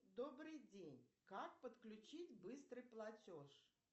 добрый день как подключить быстрый платеж